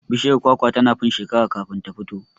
Bishiyar kwakwa tana fin shekera kafin ta fito